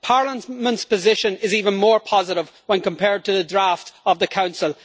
Parliament's position is even more positive when compared to the draft of the Council.